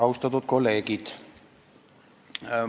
Austatud kolleegid!